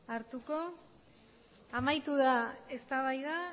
hartuko amaitu da eztabaida